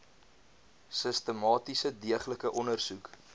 sistematiese deeglike ondersoek